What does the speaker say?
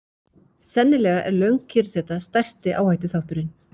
Sennilega er löng kyrrseta stærsti áhættuþátturinn.